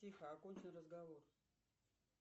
тихо окончу разговор